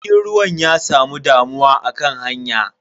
Jirgin ruwan ya samu damuwa akan hanya.